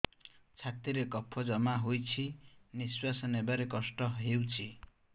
ଛାତିରେ କଫ ଜମା ହୋଇଛି ନିଶ୍ୱାସ ନେବାରେ କଷ୍ଟ ହେଉଛି